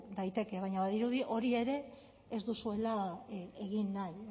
daiteke baina badirudi hori ere ez duzuele egin nahi